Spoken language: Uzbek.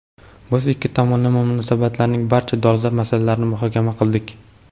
Biz ikki tomonlama munosabatlarning barcha dolzarb masalalarini muhokama qildik.